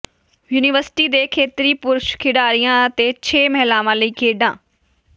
university ਦੇ ਖੇਤਰੀ ਪੁਰਸ਼ ਖਿਡਾਰੀਆਂ ਅਤੇ ਛੇ ਮਹਿਲਾਵਾਂ ਲਈ ਖੇਡਾਂ